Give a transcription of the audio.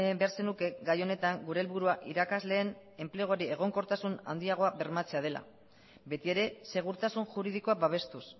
behar zenuke gai honetan gure helburua irakasleen enpleguari egonkortasun handiago bermatzea dela betiere segurtasun juridikoa babestuz